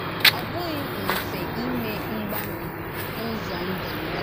Ọ bụ̀ghị mfe ímè mgbanwè n’ụ́zọ ndú m.